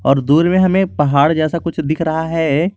और दूर में हमें पहाड़ जैसा कुछ दिख रहा है।